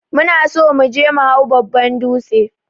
Muna son muje me hau babban dūtse.